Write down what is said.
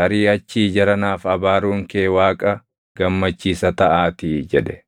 Tarii achii jara naaf abaaruun kee Waaqa gammachiisa taʼaatii” jedhe.